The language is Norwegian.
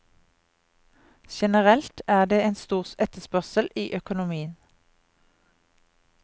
Generelt er det en stor etterspørsel i økonomien.